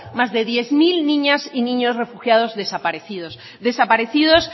más de diez mil niñas y niños refugiados desaparecidos desaparecidos